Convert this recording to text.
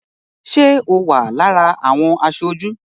Ṣé o wà lára àwọn aṣojú?